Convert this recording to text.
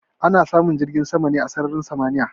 Ana samun jirgin sama ne a sararin samaniya.